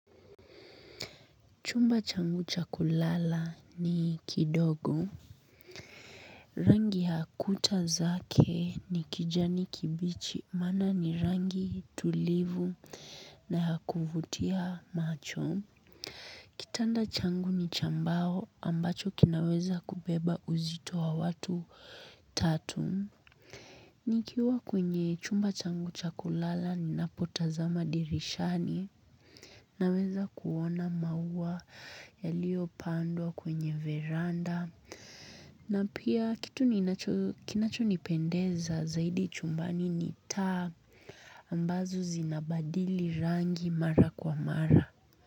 Chumba changu chakulala ni kidogo. Rangi ya kuta zake ni kijani kibichi maana ni rangi tulivu na yakuvutia macho. Kitanda changu ni cha mbao ambacho kinaweza kubeba uzito wa watu tatu. Nikiwa kwenye chumba changu cha kulala ninapotazama dirishani na weza kuona maua yalio pandwa kwenye veranda na pia kitu kinacho nipendeza zaidi chumbani ni taa ambazo zinabadili rangi mara kwa mara.